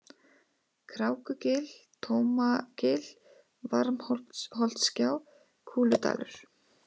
Krákugil, Tómagil, Varmholtsgjá, Kúludalur